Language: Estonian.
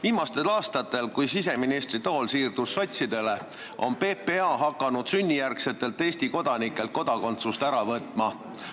Viimastel aastatel, pärast seda, kui siseministritool sai sotsidele, on PPA hakanud sünnijärgsetelt Eesti kodanikelt kodakondsust ära võtma.